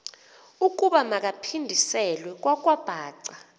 ukuba makaphindiselwe kwakwabhaca